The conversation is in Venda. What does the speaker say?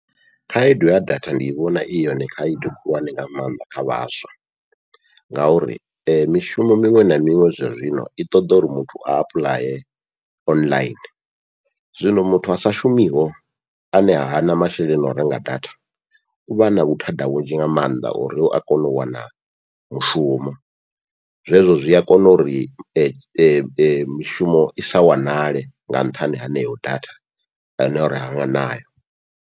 Khaedu ya data ndi i vhona i yone khaedu khulwane nga maanḓa kha vhaswa, ngauri mishumo miṅwe na miṅwe zwa zwino i ṱoḓa uri muthu a apuḽaye online, zwino muthu asa shumiho ane hana masheleni o renga data uvha na vhuthada vhunzhi nga maanḓa ha uri a kone u wana mushumo, zwezwo zwia kona uri mishumo isa wanale nga nṱhani haneyo data ane uri ha nayo.